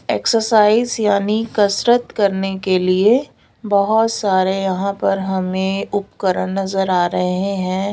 Exercise यानी कसरत करने के लिए बहोत सारे यहां पर हमें उपकरण नजर आ रहे हैं।